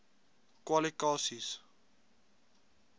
kwali ka sies